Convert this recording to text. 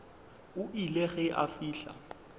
o ile ge a fihla